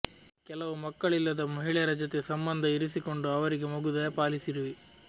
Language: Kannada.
ಕೆಲವು ಮಕ್ಕಳಿಲ್ಲದ ಮಹಿಳೆಯರ ಜತೆ ಸಂಬಂಧ ಇರಿಸಿಕೊಂಡು ಅವರಿಗೆ ಮಗು ದಯಪಾಲಿಸಿರುವೆ